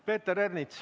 Peeter Ernits.